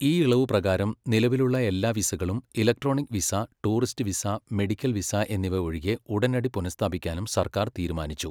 ഈ ഇളവ് പ്രകാരം, നിലവിലുള്ള എല്ലാ വിസകളും electronic visa, tourist visa, medical visa എന്നിവ ഒഴികെ ഉടനടി പുനസ്ഥാപിക്കാനും സർക്കാർ തീരുമാനിച്ചു.